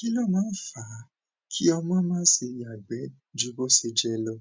kí ló máa ń fa kí ọmọ máa ṣe yàgbẹh ju bó ṣe yẹ lọ